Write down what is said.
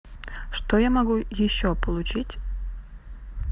что я могу еще получить